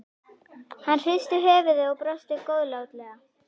Hann hristi höfuðið og brosti góðlátlega.